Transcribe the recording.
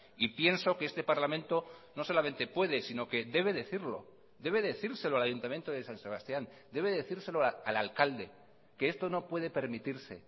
y pienso que este parlamento no solamente puede sino que debe decirlo debe decírselo al ayuntamiento de san sebastián debe decírselo al alcalde que esto no puede permitirse